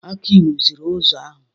Aki rụziri ụzọ ahụ.